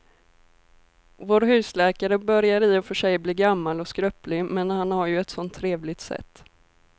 Vår husläkare börjar i och för sig bli gammal och skröplig, men han har ju ett sådant trevligt sätt!